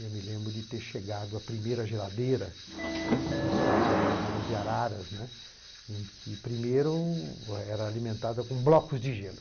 Eu me lembro de ter chegado à primeira geladeira, uma das primeiras geladeiras de Araras, né, em que primeiro era alimentada com blocos de gelo.